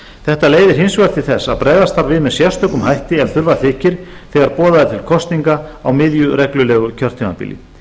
þetta leiðir hins vegar til þess að bregðast þarf við með sérstökum hætti ef þurfa þykir þegar boðað er til kosninga á miðju reglulegu kjörtímabili